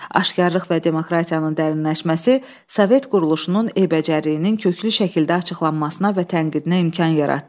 Aşqarlıq və demokratiyanın dərinləşməsi Sovet quruluşunun eybəcərliyinin köklü şəkildə açıqlanmasına və tənqidinə imkan yaratdı.